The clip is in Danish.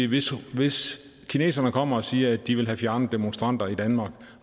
hvis hvis kineserne kommer og siger at de vil have fjernet demonstranter i danmark